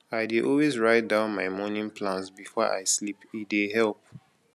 i dey always write down my morning plans before i sleep e dey help